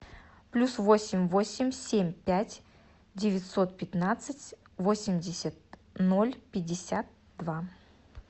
плюс восемь восемь семь пять девятьсот пятнадцать восемьдесят ноль пятьдесят два